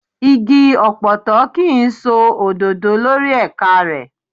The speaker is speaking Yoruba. Igi ọ̀pọ̀tọ́ kò kí ń so òdòdó lórí ẹ̀ka rẹ̀.